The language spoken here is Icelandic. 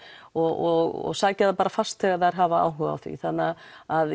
og sækja það fast þegar þær hafa áhuga á því þannig að